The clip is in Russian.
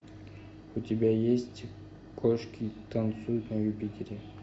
у тебя есть кошки танцуют на юпитере